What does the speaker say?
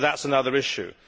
But that is another issue.